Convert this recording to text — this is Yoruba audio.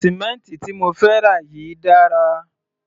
Sì̀mẹ́ǹtì tí mo fẹ́ rà yìí dára.